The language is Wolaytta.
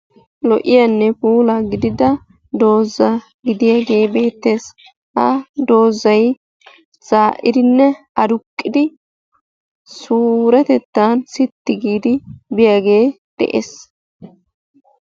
Lo''iyaanne puula gidida doozay beettes. ha doozay suretettan sitti giidi pude bees.